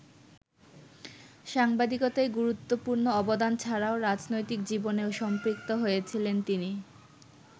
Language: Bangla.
সাংবাদিকতায় গুরুত্বপূর্ণ অবদান ছাড়াও রাজনৈতিক জীবনেও সম্পৃক্ত হয়েছিলেন তিনি।